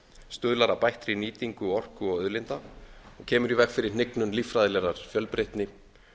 stuðlar að bættri nýtingu orku og auðlinda kemur í veg fyrir hnignun líffræðilegrar fjölbreytni